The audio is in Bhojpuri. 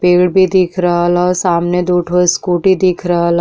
पेड़ भी दिख रहल ह। सामने दो ठो स्कूटी दिख रहल ह।